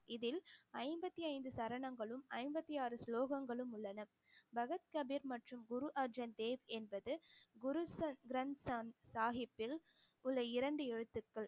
இதில் ஐம்பத்தி ஐந்து சரணங்களும் ஐம்பத்தி ஆறு ஸ்லோகங்களும் உள்ளன பகத் கபீர் மற்றும் குரு அர்ஜன் தேவ் என்பது குரு கிரந்த சா~ சாஹிப்பில் உள்ள இரண்டு எழுத்துக்கள்